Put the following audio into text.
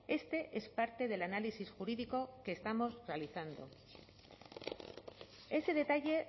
este es parte del análisis jurídico que estamos realizando ese detalle